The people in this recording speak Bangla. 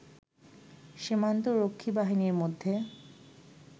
সীমান্ত রক্ষী বাহিনীর মধ্যে